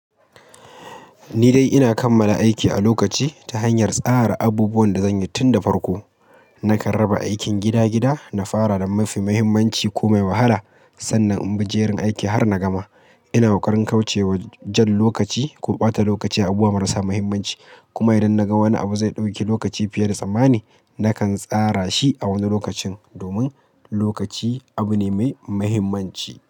Ni dai ina kammala aiki a lokaci ta hanyar tsara abubuwan da zan yi tun da farko. Nakan raba aikin gida-gida, na fara da mafi muhimmanci ko mai wahala sannan in bi jerin aiki har na gama. Ina ƙoƙarin kauce wa jan lokaci ko ɓata lokaci a abubuwa marasa muhimmanci. Kuma idan naga wani abu zai ɗauki lokaci fiye da tsammani, nakan tsara shi a wani lokacin domin lokaci abu ne mai muhimmanci.